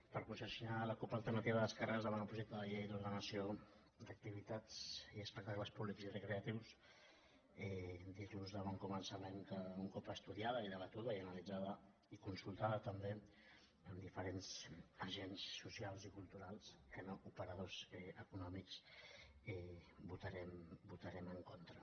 per posicionar la cup alternativa d’esquerres davant el projecte de llei d’ordenació d’activitats i espectacles públics i recreatius dir los de bon començament que un cop estudiada i debatuda i analitzada i consultada també amb diferents agents socials i culturals que no operadors econòmics hi votarem en contra